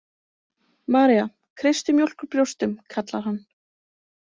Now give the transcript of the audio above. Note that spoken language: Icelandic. „María, kreistu mjólk úr brjóstum“ kallar hann